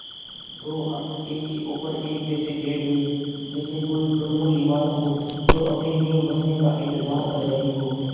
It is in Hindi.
दो अंक एक के ऊपर एक ऐसे बैठ गये जैसे कोई ढुलमुल इमारत हो जो अपनी नींव भरने का इन्तज़ार कर रही हो